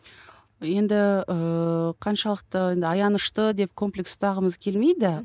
енді ііі қаншалықты енді аянышты деп комплекс ұстағымыз келмейді